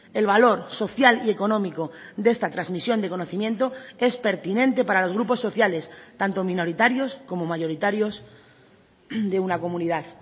el valor social y económico de esta transmisión de conocimiento es pertinente para los grupos sociales tanto minoritarios como mayoritarios de una comunidad